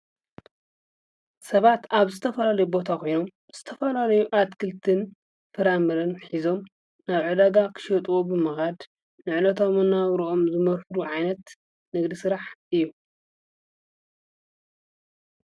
ሰባት አብ ዝተፈላለዩ ቦታ ኮይኖም ዝተፈላለዩ አትክልትን ፍራምረን ሒዞም ናብ ዕደጋ ክሸጥዎ ብምኻድ ዕለታዊ መነባብርኦም ዝመርሕሉ ዓይነት ንግዲ ስራሕ እዩ ።